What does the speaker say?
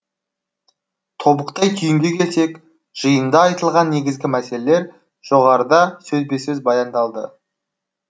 тобықтай түйінге келсек жиында айтылған негізгі мәселелер жоғарыда сөзбе сөз баяндалды